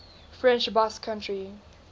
french basque country